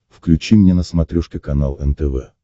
включи мне на смотрешке канал нтв